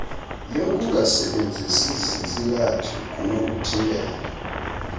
yokungasebenzisi zintsilathi kunokuthintela